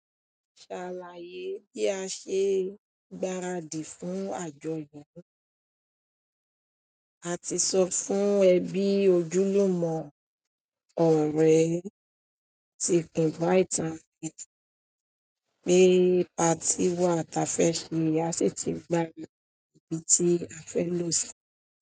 Ṣàlàyé bí a ṣe gbaradì fún àjọyọ̀. A ti sọ fún ẹ bí ojúlùmọ̀ ọ̀rẹ́ ti invite won, pé patí wa t'afẹ́ ṣe, a sì ti gbà ibi tí a fẹ́ lò sí.